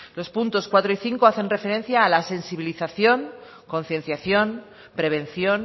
los puntos cuatro y cinco hacen referencia a la sensibilización concienciación prevención